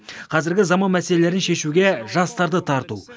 қазіргі заман мәселелерін шешуге жастарды тарту